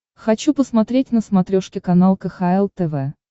хочу посмотреть на смотрешке канал кхл тв